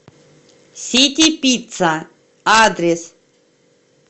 ситипицца адрес